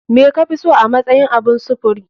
Me kafiso a matsayin abun sufuri?